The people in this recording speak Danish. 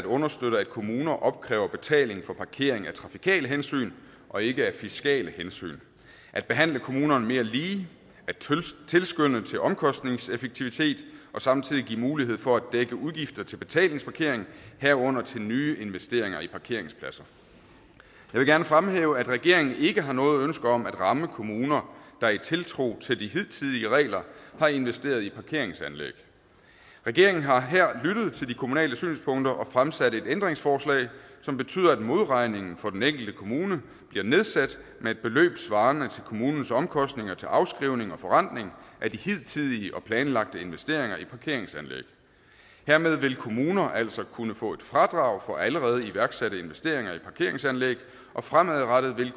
understøtte at kommuner opkræver betaling for parkering af trafikale hensyn og ikke af fiskale hensyn at behandle kommunerne mere lige at tilskynde til omkostningseffektivitet og samtidig give mulighed for at dække udgifter til betalingsparkering herunder til nye investeringer i parkeringspladser jeg vil gerne fremhæve at regeringen ikke har noget ønske om at ramme kommuner der i tiltro til de hidtidige regler har investeret i parkeringsanlæg regeringen har her lyttet til de kommunale synspunkter og fremsat et ændringsforslag som betyder at modregningen for den enkelte kommune bliver nedsat med et beløb svarende til kommunens omkostninger til afskrivning og forrentning af de hidtidige og planlagte investeringer i parkeringsanlæg hermed vil kommuner altså kunne få et fradrag for allerede iværksatte investeringer i parkeringsanlæg og fremadrettet vil